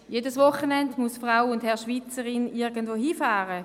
Jedes Wochenende muss Frau und Herr Schweizer/in irgendwo hinfahren.